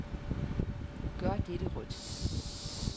Gør dette rødt.